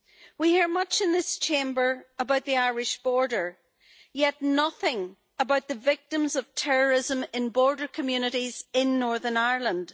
We hear much in this Chamber about the Irish border, yet nothing about the victims of terrorism in border communities in Northern Ireland.